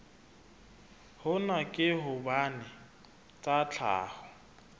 hona ke hobane tsa tlhaho